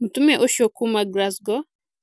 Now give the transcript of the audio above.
Mũtumia ũcio kuuma Glasgow,